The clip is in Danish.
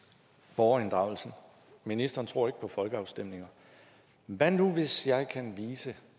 borgerinddragelsen ministeren tror ikke på folkeafstemninger hvad nu hvis jeg kan vise